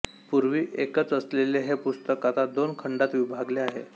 पूर्वी एकच असलेले हे पुस्तक आता दोन खंडांत विभागले आहे